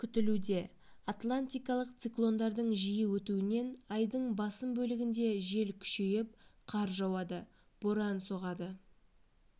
күтілуде атлантикалық циклондардың жиі өтуінен айдың басым бөлігінде жел күшейіп қар жауады боран соғады